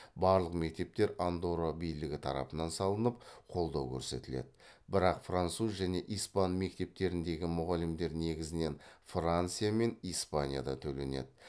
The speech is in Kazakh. барлық мектептер андорра билігі тарапынан салынып қолдау көрсетіледі бірақ француз және испан мектептеріндегі мұғалімдер негізінен франция мен испанияда төленеді